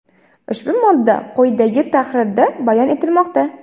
ushbu modda qo‘yidagi tahrirda bayon etilmoqda:.